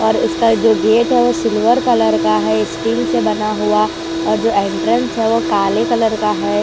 और इसका जो गेट है वो सिल्वर कलर का है स्टील से बना हुआ और जो एंट्रेंस है वह काले कलर का है।